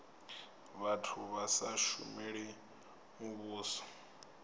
vhathu vha sa shumeli muvhuso